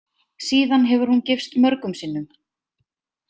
Síðan hefur hún gifst mörgum sinnum.